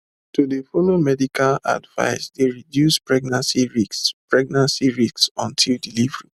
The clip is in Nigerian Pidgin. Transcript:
to dey follow medical advice dey reduce pregnancy risks pregnancy risks until delivery